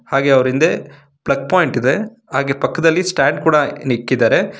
ಹಾಗೆ ಅವರ ಹಿಂದೆ ಪ್ಲಗ್ ಪಾಯಿಂಟ್ ಇದೆ ಹಾಗೆ ಪಕ್ಕದಲ್ಲಿ ಸ್ಟ್ಯಾಂಡ್ ಕೂಡ ನಿಕ್ಕಿದ್ದಾರೆ.